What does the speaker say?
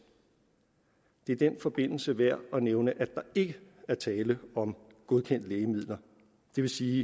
det er i den forbindelse værd at nævne at der ikke er tale om godkendte lægemidler det vil sige